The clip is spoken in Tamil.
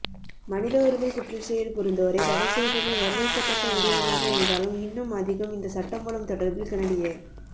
மனித உரிமை குற்றச்செயல் புரிந்தோரை தடைசெய்தமை வரவேற்கத்தக்க விடயமாக இருந்தாலும் இன்னும் அதிகம் இந்த சட்டமூலம் தொடர்பில் கனடிய